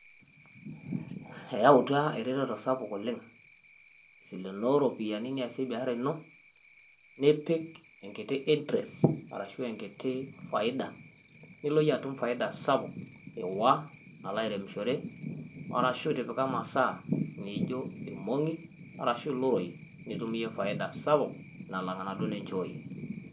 Eyautaa eretoto sapuk oleng. Silenoo o ropiani niasie o biasharaa enoo nipiik enkitii interest ashu nkitii faida niloo enye atuum faidaa sapuk ewaa aloo aloimishoree, orashuu itipikaa neejo olmoong'i orashu ilroii nituum eyee faidaa sapuk nalaang' nadoo ninchooye.